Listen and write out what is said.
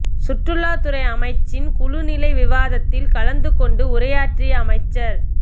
சுற்றுலாத்துறை அமைச்சின் குழு நிலை விவாதத்தில் கலந்து கொண்டு உரையாற்றிய அமைச்சர்